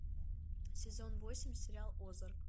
сезон восемь сериал озарк